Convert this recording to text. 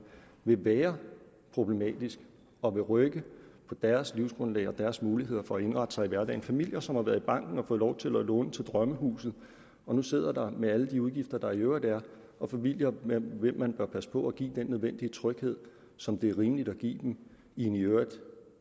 vil være problematisk og rykke på deres livsgrundlag og deres muligheder for at indrette sig i hverdagen familier som har været i banken og fået lov til at låne til drømmehuset og nu sidder der med alle de udgifter der i øvrigt er og familier hvem man bør passe på at give den nødvendige tryghed som det er rimeligt at give dem i en i øvrigt